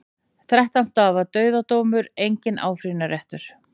Þrettán stafa dauðadómur, enginn áfrýjunarréttur.